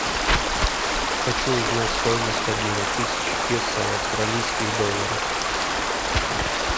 хочу узнать стоимость обмена тысячи песо в австралийских долларах